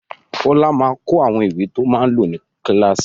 Fọlá máa kó àwọn ìwé to máa lò ní kíláàsì.